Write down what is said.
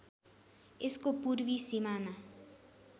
यसको पूर्वी सिमाना